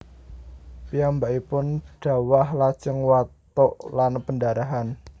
Piyambakipun dhawah lajeng watuk lan pendarahan